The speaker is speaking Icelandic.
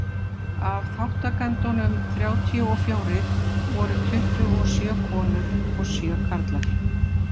Af þátttakendunum þrjátíu og fjórir voru tuttugu og sjö konur og sjö karlar.